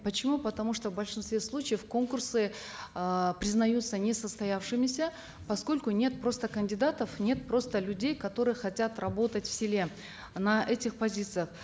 почему потому что в большинстве случаев конкурсы э признаются несостоявшимися поскольку нет просто кандидатов нет просто людей которые хотят работать в селе на этих позициях